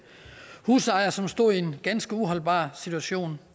husejere som stod i en ganske uholdbar situation